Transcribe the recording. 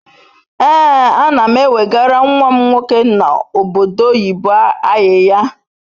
Ee anam ewegara nwam nwoke no obodo oyibo ayiya